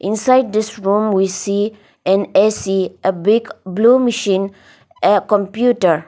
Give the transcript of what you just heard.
inside this room we see an A_C a big blue machine a computer.